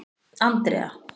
Andrea